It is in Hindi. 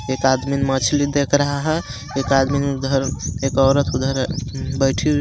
एक आदमिन मछली देख रहा हेएक आदमिन उधर एक औरत उधर बैठी हुई हे.